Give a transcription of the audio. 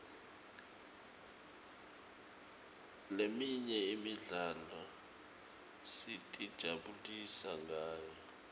leminye imidlalo sitijabulisa ngayo